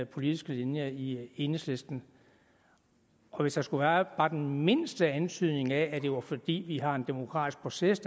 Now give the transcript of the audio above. politiske linje i enhedslisten og hvis der skulle være bare den mindste antydning af at det var fordi vi har en demokratisk proces